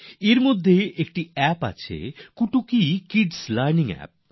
এর মধ্যে একটি অ্যাপ হল কুটুর কিডস লার্নিং অ্যাপ